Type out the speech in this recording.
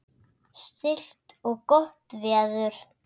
Stillt og gott veður.